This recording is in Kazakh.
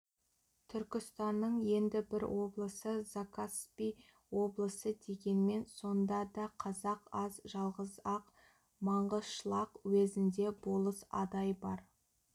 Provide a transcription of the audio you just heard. түркістанның енді бір облысы закаспий облысы дегенмен сонда да қазақ аз жалғыз-ақ маңғышлақ уезінде болыс адай бар